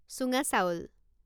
চুঙা চাউল